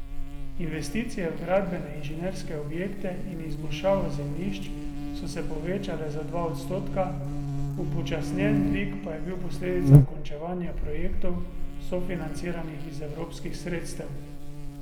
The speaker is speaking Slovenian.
Investicije v gradbene inženirske objekte in izboljšavo zemljišč so se povečale za dva odstotka, upočasnjen dvig pa je bil posledica končevanja projektov, sofinanciranih iz evropskih sredstev.